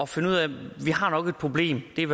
finde ud af det vi har nok et problem det er